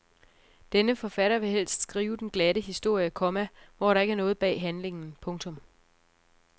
Denne forfatter vil helst skrive den glatte historie, komma hvor der ikke er noget bag handlingen. punktum